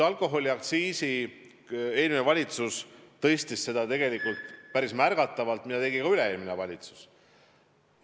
Alkoholiaktsiisi eelmine valitsus tõstis tegelikult päris märgatavalt ja seda tegi ka üle-eelmine valitsus.